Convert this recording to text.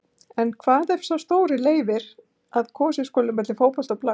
En hvað ef sá stóri leyfir að kosið skuli á milli fótbolta og blaks.